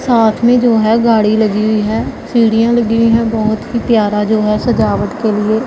साथ में जो है गाड़ी लगी हुई है सीढ़ियां लगी हुई है बहोत ही प्यारा जो है सजावट के लिए--